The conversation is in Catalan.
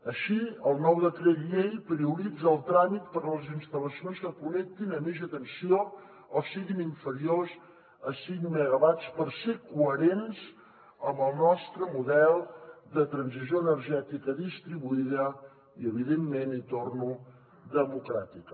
així el nou decret llei prioritza el tràmit per les instal·lacions que connectin a mitjana tensió o siguin inferiors a cinc megawatts per ser coherents amb el nostre model de transició energètica distribuïda i evidentment hi torno democràtica